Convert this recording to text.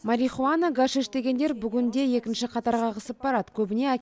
марихуана гашиш дегендер бүгінде екінші қатарға ығысып барады көбіне